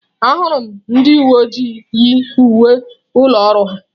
Ahụrụ m ndị uwe ojii yi uwe ụlọ ọrụ ha.